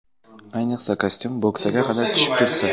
Ayniqsa, kostyum bo‘ksaga qadar tushib tursa.